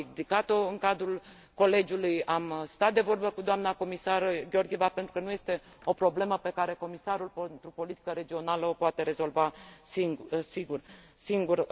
Am ridicat o în cadrul colegiului, am stat de vorbă cu doamna comisar Georgieva, pentru că nu este o problemă pe care comisarul pentru politica regională o poate rezolva singur.